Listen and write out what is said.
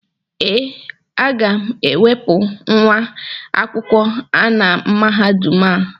Ee, aga m enwepụ nwa akwụkwọ a na Mahadum a